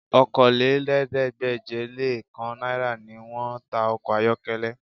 Okòólélẹ́ẹ̀ẹ́dégbèje-le-kan náírà ni wọ́n ń ta ọkọ ayọ́kẹ́lẹ́